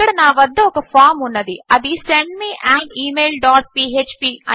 ఇక్కడ నా వద్ద ఒక ఫామ్ ఉన్నది అది send me an email dot PHP